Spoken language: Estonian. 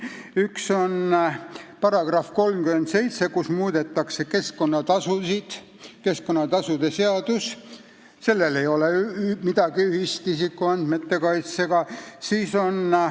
Üks on § 37, millega muudetakse keskkonnatasusid, keskkonnatasude seadusel ei ole midagi ühist isikuandmete kaitsega.